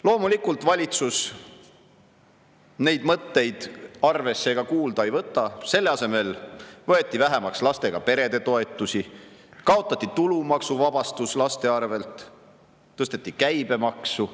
Loomulikult valitsus neid mõtteid arvesse ega kuulda ei võta, selle asemel võeti vähemaks lastega perede toetusi, kaotati tulumaksuvabastus laste pealt, tõsteti käibemaksu.